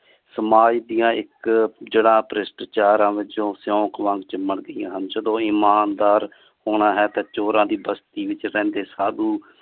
ਸਮਾਜ ਦੀਆਂ ਇਕ ਜੜਾਂ ਪ੍ਰਿਸਟਾਚਾਰ ਵਿਚੋਂ ਸੀਓਖ ਵਾਂਗ ਚਿੰਬੜ ਗਈਆਂ ਹਨ ਜਦੋਂ ਇਮਾਨਦਾਰ ਹੋਣਾ ਹੈ ਤਾ ਚੋਰਾਂ ਦੀ ਵਸਤੀ ਵਿਚ ਰਹਿੰਦੇ ਸਾਧੁ